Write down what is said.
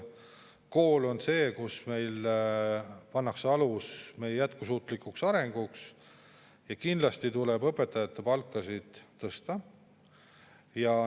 Me kõik saame aru, et kool on see, kus pannakse alus meie jätkusuutlikule arengule, ja kindlasti tuleb õpetajate palkasid tõsta.